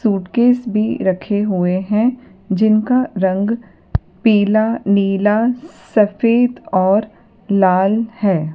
Suitcase भी रखे हुए हैं जिनका रंग पीला नीला सफेद और लाल है।